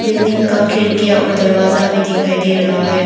Building का खिड़कियां और दरवाजा भी दिखाई दे रहा है।